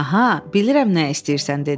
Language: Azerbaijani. Aha, bilirəm nə istəyirsən dedim.